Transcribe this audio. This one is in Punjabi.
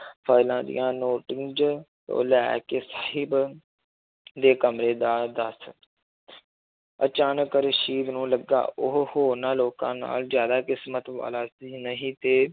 ਫਾਇਲਾਂ ਦੀਆਂ ਉਹ ਲੈ ਕੇ ਦੇ ਕਮਰੇ ਦਾ ਦੱਸ ਅਚਾਨਕ ਰਸ਼ੀਦ ਨੂੰ ਲੱਗਾ ਉਹ ਹੋਰਨਾਂ ਲੋਕਾਂ ਨਾਲ ਜ਼ਿਆਦਾ ਕਿਸ਼ਮਤ ਵਾਲਾ ਸੀ ਨਹੀਂ ਤੇ